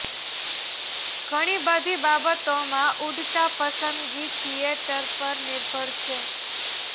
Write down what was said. ઘણી બધી બાબતોમાં ઉડતા પસંદગી થિયેટર પર નિર્ભર છે